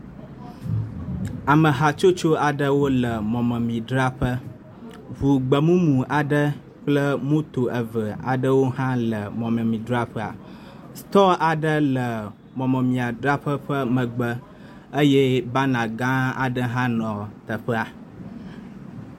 Ame hatsotso aɖewo le mɔmemidzraƒe. Ŋu gbe mumu aɖe kple moto eve aɖewo hã le mɔmemidzraƒea, store aɖe le mɔmemiadzraƒea ƒe megbe eye bana gã aɖe hã nɔ teƒea.